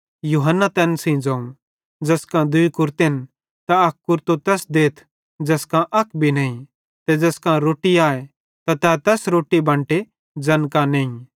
यूहन्ना तैन सेइं ज़ोवं ज़ैस कां दूई कुरतेन त अक कुरतो तैस देथ ज़ैस कां अक भी नईं ते ज़ैस कां रोट्टी आए त तै भी रोट्टी बंटे ज़ैन कां नईं